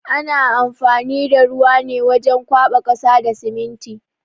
Ana amfani da ruwa ne wajen kwaɓa ƙasa da siminti.